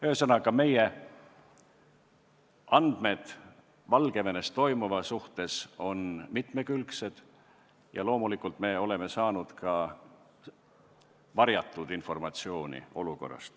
Ühesõnaga, meie andmed Valgevenes toimuva kohta on mitmekülgsed ja loomulikult oleme saanud sealse olukorra kohta ka varjatud informatsiooni.